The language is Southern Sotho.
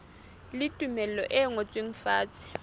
le tumello e ngotsweng fatshe